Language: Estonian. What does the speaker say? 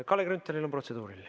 Kalle Grünthalil on protseduuriline.